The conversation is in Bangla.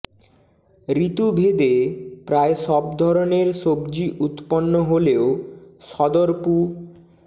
ঋতু ভেদে প্রায় সব ধরনের সবজি উৎপন্ন হলেও সদরপু